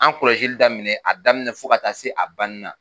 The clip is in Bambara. An kɔlɔsili daminɛ a daminɛ fo ka taa se a banina.